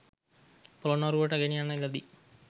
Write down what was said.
පොළොන්නරුවට ගෙනයන ලදී.